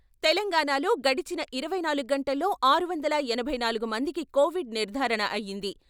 తెలంగాణా లో గడచిన ఇరవై నాలుగు గంటల్లో ఆరు వందల ఎనభై నాలుగు మందికి కోవిడ్ నిర్ధారణ అయింది.